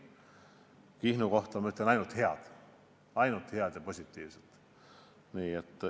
Kihnu kohta ma ütlen ainult head, ainult head ja positiivset.